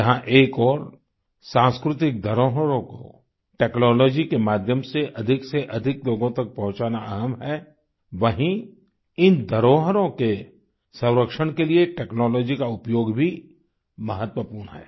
जहां एक ओर सांस्कृतिक धरोहरों को टेक्नोलॉजी के माध्यम से अधिकसेअधिक लोगों तक पहुंचाना अहम् है वहीँ इन धरोहरों के संरक्षण के लिए टेक्नोलॉजी का उपयोग भी महत्वपूर्ण है